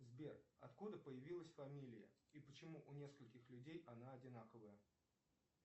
сбер откуда появилась фамилия и почему у нескольких людей она одинаковая